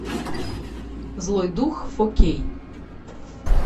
злой дух фо кей